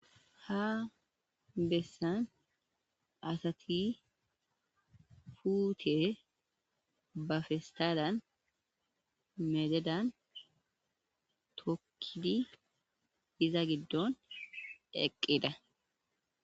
Ha bessan asati puute ba festaalan mededan tokkidi iza giddon eqqida.